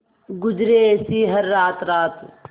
गुजरे ऐसी हर रात रात